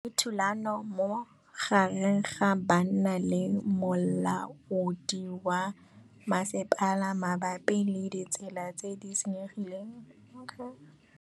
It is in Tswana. Go na le thulanô magareng ga banna le molaodi wa masepala mabapi le ditsela tse di senyegileng.